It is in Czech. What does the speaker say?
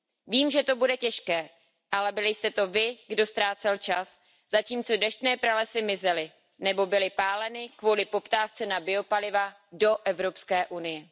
Vím, že to bude těžké, ale byli jste to vy, kdo ztrácel čas, zatímco deštné pralesy mizely nebo byly páleny kvůli poptávce na biopaliva do Evropské unie.